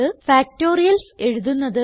factorials എഴുതുന്നത്